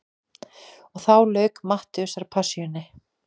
Og þá lauk Mattheusarpassíunni.